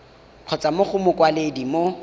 kgotsa mo go mokwaledi mo